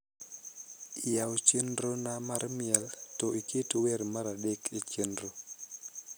yaw chenrona mar miel to iket wer mar adek e chenro